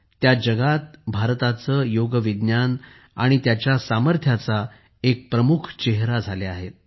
त्या जगात भारताचे योग विज्ञान आणि त्याच्या सामर्थ्याचा एक प्रमुख चेहेरा झाल्या आहेत